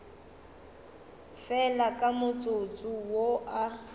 fela ka motsotso wo a